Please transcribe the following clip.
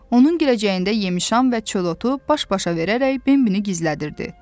Onun girəcəyində yemişan və çöl otu baş-başa verərək Bembini gizlədirdi.